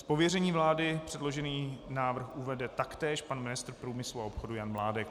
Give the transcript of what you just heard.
Z pověření vlády předložený návrh uvede taktéž pan ministr průmyslu a obchodu Jan Mládek.